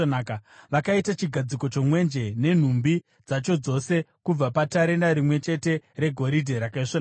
Vakaita chigadziko chomwenje nenhumbi dzacho dzose kubva patarenda rimwe chete regoridhe rakaisvonaka.